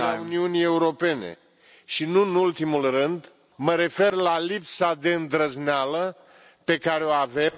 membre ale Uniunii Europene și, nu în ultimul rând, mă refer la lipsa de îndrăzneală pe care o avem...